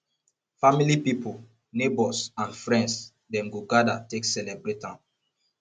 family pipol neibours and friends dem go gather take celebrate am